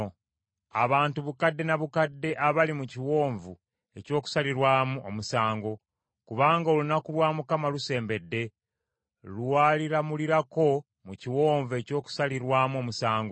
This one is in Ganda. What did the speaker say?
Abantu bukadde na bukadde abali mu kiwonvu eky’okusalirwamu omusango! Kubanga olunaku lwa Mukama lusembedde lwaliramulirako mu kiwonvu eky’okusalirwamu omusango.